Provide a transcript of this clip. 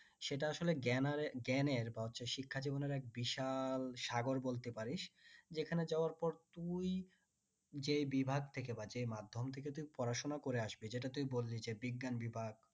সেটা আসলে জ্ঞানের বা শিক্ষা জীবনের বিশাল সাগর বলতে পারিস যেখানে যাওয়ার পর তুই যে বিভাগ থেকে বা যে মাধ্যম থেকে তুই পড়াশোনা করে আসবি যেটা তুই বললি যে বিজ্ঞান বিভাগ